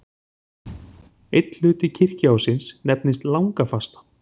Einn hluti kirkjuársins nefnist langafasta.